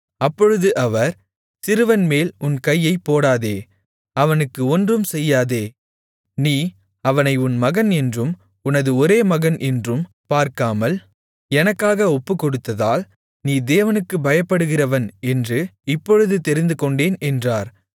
அப்பொழுது அவர் சிறுவன்மேல் உன் கையைப் போடாதே அவனுக்கு ஒன்றும் செய்யாதே நீ அவனை உன் மகன் என்றும் உனது ஒரே மகன் என்றும் பார்க்காமல் எனக்காக ஒப்புக்கொடுத்ததால் நீ தேவனுக்குப் பயப்படுகிறவன் என்று இப்பொழுது தெரிந்துகொண்டேன் என்றார்